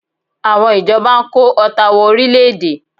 Àwọn ìjọba ń kó ọta wọ orílẹ̀-èdè